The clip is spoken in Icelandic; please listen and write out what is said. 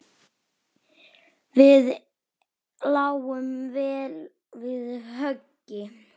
Við lágum vel við höggi.